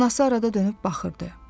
Anası arada dönüb baxırdı.